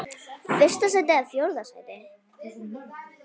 Fyrsta sæti eða fjórða sæti?